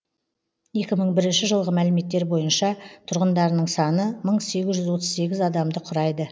екі мың бірінші жылғы мәліметтер бойынша тұрғындарының саны мың сегіз жүз отыз сегіз адамды құрайды